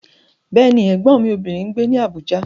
Bẹ́ẹ̀ni, Ẹ̀gbọ́n mi obìnrin ń gbé ní Abuja.